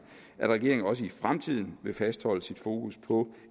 at regeringen selvfølgelig også i fremtiden vil fastholde sit fokus på